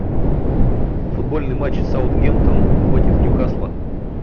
футбольный матч саутгемптон против ньюкасла